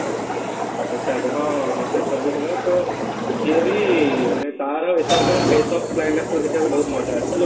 ଆଛା ଆଛା ହଁ ହଁ ହଁ ସେଥିରେ ବି ସେ ଥିଲା ତ ସିଏ ବି ମାନେ ତାର SRK ର of climax ଦେଖିବାକୁ ବହୁତ ମଜା ଆସିଛି